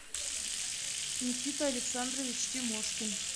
никита александрович тимошкин